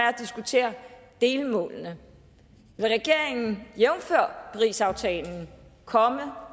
at diskutere delmålene vil regeringen jævnfør parisaftalen komme